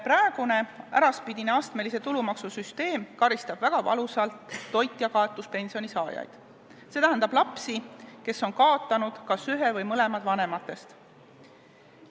Praegune äraspidine astmelise tulumaksu süsteem karistab väga valusalt toitjakaotuspensioni saajaid, st lapsi, kes on kaotanud kas ühe või mõlemad vanematest.